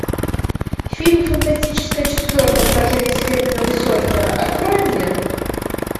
фильм фантастическая четверка вторжение серебряного серфера открой мне